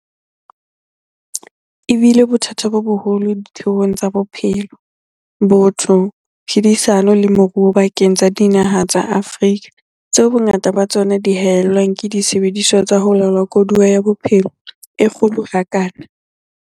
E bile bothata bo boholo ditheong tsa bophelo, botho, phedisano le moruo bakeng sa dinaha tsa Afrika, tseo bongata ba tsona di hae llwang ke disebediswa tsa ho laola koduwa ya bophelo e kgolo ha kana.